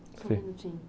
só um minutinho.